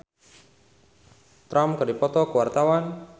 Meggie Z jeung Donald Trump keur dipoto ku wartawan